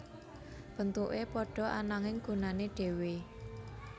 Bentuke padha ananging gunane dhewe